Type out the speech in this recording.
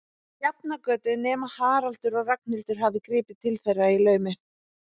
Sjafnargötu, nema Haraldur og Ragnhildur hafi gripið til þeirra í laumi.